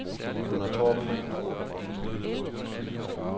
Gunnar Torp